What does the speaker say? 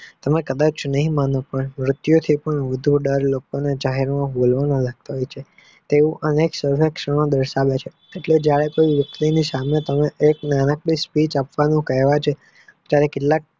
અને કદાચ નહિ માનો પણ અનેક નવા સંરક્ષાનો બને છે તે અનેક સરક્ષાનો બેસાડે છે એટલે ત્યારે કોઈ વ્યક્તિની સામે તમે એક મહેનતની spich કહ્યા છો ત્યારે કેટલાક